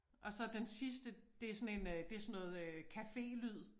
Og så den sidste det sådan en øh det sådan noget øh cafélyd